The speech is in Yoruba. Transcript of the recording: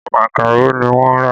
Makaro ni wọ́n rà